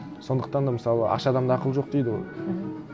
сондықтан да мысалы аш адамда ақыл жоқ дейді ғой мхм